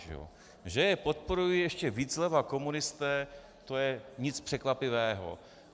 Že je podporují ještě víc zleva komunisté, to není nic překvapivého.